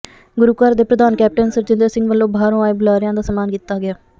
ਗੁਰੂਘਰ ਦੇ ਪ੍ਰਧਾਨ ਕੈਪਟਨ ਸਰਜਿੰਦਰ ਸਿੰਘ ਵੱਲੋਂ ਬਾਹਰੋਂ ਆਏ ਬੁਲਾਰਿਆਂ ਦਾ ਸਨਮਾਨ ਕੀਤਾ ਗਿਆ